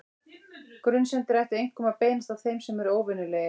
Grunsemdir ættu einkum að beinast að þeim sem eru óvenjulegir.